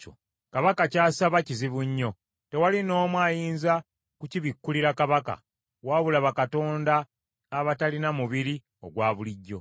Kabaka ky’asaba kizibu nnyo. Tewali n’omu ayinza kukibikkulira kabaka, wabula bakatonda abatalina mubiri ogwa bulijjo.”